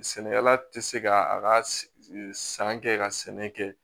Sɛnɛkɛla tɛ se ka a ka san kɛ ka sɛnɛ kɛ